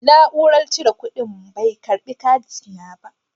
Na'urar cire kuɗin bai karɓi katina ba.